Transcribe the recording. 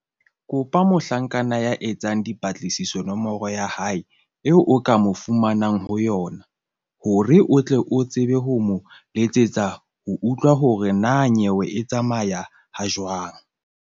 Kopa mohlanka ya etsang dipatlisiso nomoro ya hae eo o ka mo fumanang ho yona, hore o tle o tsebe ho mo letsetsa ho utlwa hore na nyewe e tsamaya ha jwang.